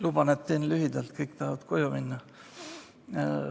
Luban, et teen lühidalt, kõik tahavad koju minna.